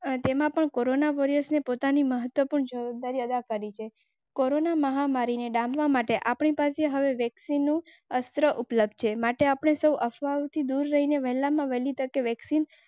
આજેમાં પણ કોરોના વૉરિયર્સને પોતાની મહત્વપૂર્ણ જવાબદારી અદા કરી છે. કોરોના મહામારીને ડામવા માટે આપણી પાસે હવે અસ્ત્ર ઉપલબ્ધ છે. માટે અપને સમસ્યાઓથી દૂર રહીને વહેલામાં વહેલી તકે વેક્સિન.